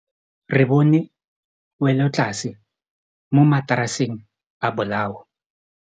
Re bone wêlôtlasê mo mataraseng a bolaô.